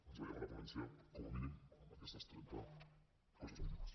ens veiem a la ponència com a mínim amb aquestes trenta coses mínimes